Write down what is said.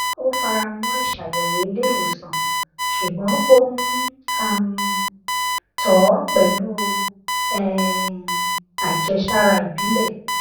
ó fara mọ ìṣàyẹwò ilé ìwòsàn ṣùgbọn ó n um tọ ọ pẹlú um àjẹsára ìbílẹ